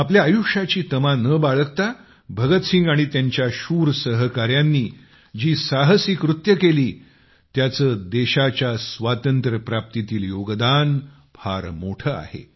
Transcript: आपल्या आयुष्याची तमा न बाळगता भगतसिंग आणि त्यांच्या शूर सहकाऱ्यांनी जी साहसी कृत्ये केली त्यांचे देशाच्या स्वातंत्र्यप्राप्तीतील योगदान फार मोठे आहे